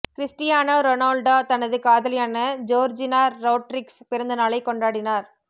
Cristiano Ronaldo தனது காதலியான Georgina Rodriguez பிறந்த நாளை கொண்டாடினார்